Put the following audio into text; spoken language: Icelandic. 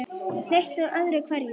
Leit við öðru hverju.